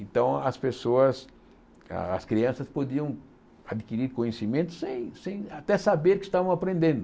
Então as pessoas, as crianças podiam adquirir conhecimento sem sem até saber que estavam aprendendo.